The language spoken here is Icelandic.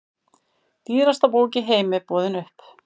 Dýrasta bók í heimi boðin upp